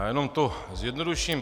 Já jenom to zjednoduším.